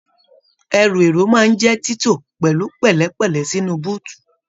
Ẹrú èrò máa n jẹ tito pẹlú pẹlẹpẹlẹ sínú búutú.